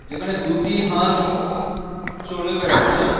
যেখানে দুটি হাস চড়ে বেড়াচ্ছে।